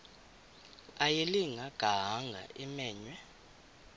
ayilinga gaahanga imenywe